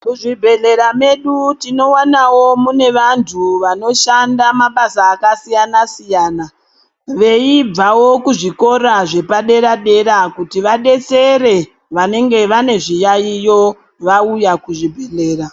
Muzvibhedhlera mwedu tinowanawonmune vantu vanoshanda mabasa akasiyana siyana veibvawo kuzvikora zvepadera dera kuti vadetsere vanenge vane zviyaiyo vauya kuzvibhedhlera .